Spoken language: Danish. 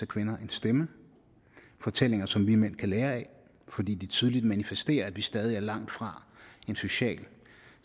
kvinder en stemme fortællinger som vi mænd kan lære af fordi de tydeligt manifesterer at vi stadig er langt fra en social